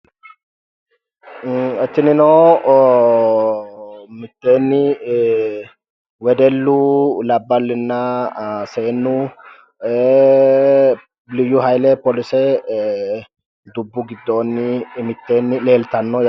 Tinino miteeni wedellu labballina seenu liyu hayile polise dubbu gidooni miteeni leelitano